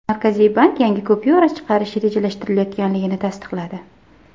Markaziy bank yangi kupyura chiqarish rejalashtirilayotganligini tasdiqladi.